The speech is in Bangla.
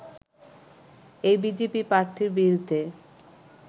এই বিজেপি প্রার্থীর বিরুদ্ধে